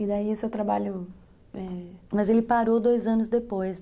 E daí o seu trabalho...É, mas ele parou dois anos depois